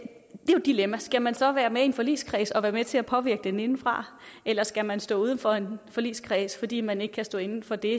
dilemma skal man så være med i en forligskreds og være med til at påvirke den indefra eller skal man stå uden for en forligskreds fordi man ikke kan stå inde for det